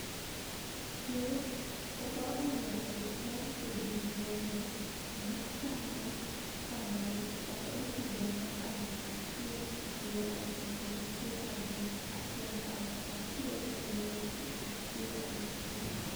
Ne obago ng`anyo mar kwedo buono machalo kamano chakre higa mar aluf achiel mia ochiko gi pier abich nyaka aluf achiel mia ochiko gi pier auchiel